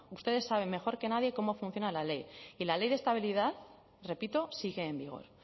ustedes saben mejor que nadie cómo funciona la ley y la ley de estabilidad repito sigue en vigor